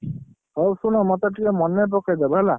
ହଉ ଶୁଣ ମୋତେ ଟିକେ ମନେ ପକେଇଦବ ହେଲା।